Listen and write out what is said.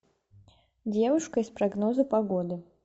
девушка из прогноза погоды